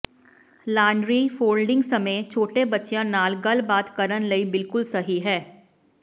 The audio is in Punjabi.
ਲਾਂਡਰੀ ਫੋਲਡਿੰਗ ਸਮੇਂ ਛੋਟੇ ਬੱਚਿਆਂ ਨਾਲ ਗੱਲਬਾਤ ਕਰਨ ਲਈ ਬਿਲਕੁਲ ਸਹੀ ਹੈ